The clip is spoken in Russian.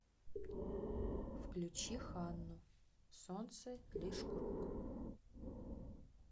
включи ханну солнце лишь круг